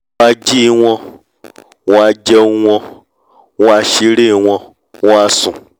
wọ́n a jí wọ́n a jẹun wọ́n a ṣeré wọ́n á sùn